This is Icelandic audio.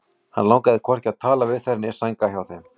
Hann langaði hvorki að tala við þær né sænga hjá þeim.